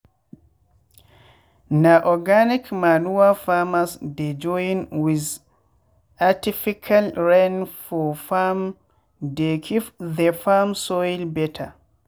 na organic manure farmers dey join with artifical rain for farmdey keep the farm soil better.